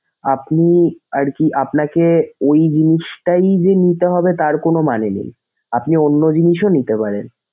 আপনি আরকি আপনাকে ঐ জিনিসটাই যে নিতে হবে তার কোনো মানে নেই, আপনি অন্য জিনিসও নিতে পারেন।